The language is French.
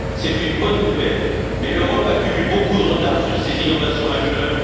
C'est une bonne nouvelle, mais l'Europe accumule beaucoup de retard sur ces innovations majeures.